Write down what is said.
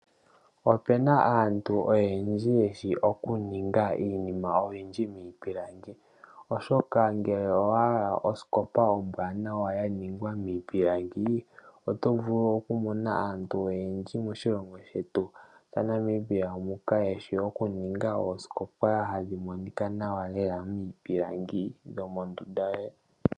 Opena aantu oyendji yeshi okuninga iinima oyindji miipilangi , oshoka ngele owa hala osikopa ombwaanawa ya ningwa miipilangi oto vulu okumona antu oyendji moshilongo shetu shaNamibia muka, yeshi okuninga oosikopa hadhi monika nawa leela miipilangi dhomondunda yoye.